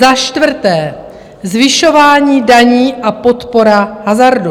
Za čtvrté, zvyšování daní a podpora hazardu.